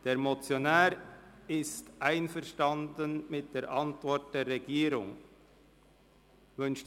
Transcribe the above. Der Motionär ist mit der Antwort der Regierung einverstanden.